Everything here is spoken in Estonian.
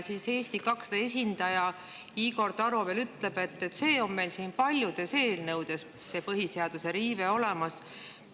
Eesti 200 esindaja Igor Taro veel ütleb, et põhiseaduse riive on meil siin paljudes eelnõudes olemas.